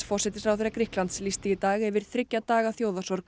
forsætisráðherra Grikklands lýsti í dag yfir þriggja daga